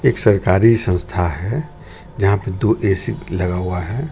एक सरकारी संस्था है जहां पे दो ऐ_सी लगा हुआ है.